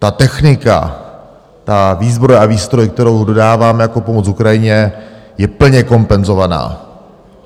Ta technika, ta výzbroj a výstroj, kterou dodáváme jako pomoc Ukrajině, je plně kompenzovaná.